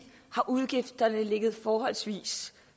har udgifterne ligget forholdsvis